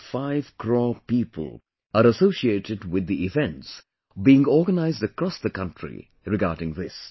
5 crore people are associated with the events being organized across the country regarding this